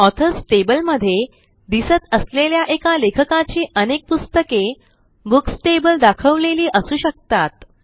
authors tableमध्ये दिसत असलेल्या एका लेखकाची अनेक पुस्तके बुक्स टेबल दाखवलेली असू शकतात